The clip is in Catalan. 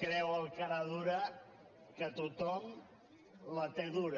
creu el caradura que tothom la té dura